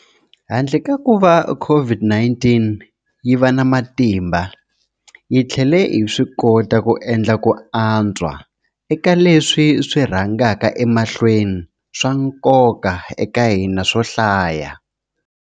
Handle ka kuva COVID-19 yi va na matimba, hi tlhele hi swikota ku endla ku antswa eka leswi swi rhangaka emahlweni swa nkoka eka hina swo hlaya.